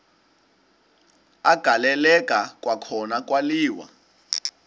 agaleleka kwakhona kwaliwa